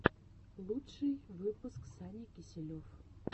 лучший выпуск саня киселев